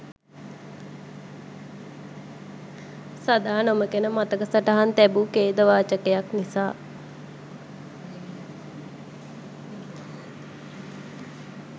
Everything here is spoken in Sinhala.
සදා නොමැකෙන මතක සටහන් තැබූ ඛේදවාචකයක් නිසා.